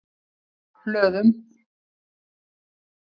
Hlöðum